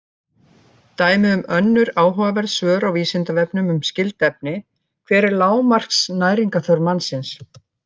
Dæmi um önnur áhugaverð svör á Vísindavefnum um skyld efni: Hver er lágmarks næringarþörf mannsins?